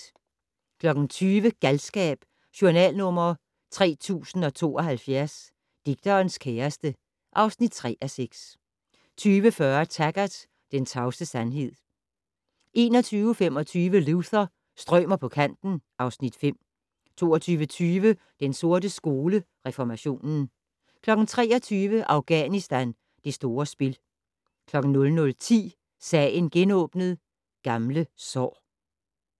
20:00: Galskab: Journal nr. 3072 - Digterens kæreste (3:6) 20:40: Taggart: Den tavse sandhed 21:25: Luther - strømer på kanten (Afs. 5) 22:20: Den sorte skole: Reformationen 23:00: Afghanistan: Det store spil 00:10: Sagen genåbnet: Gamle sår